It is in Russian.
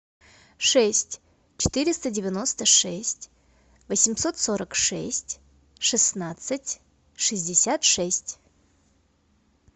шесть четыреста девяносто шесть восемьсот сорок шесть шестнадцать шестьдесят шесть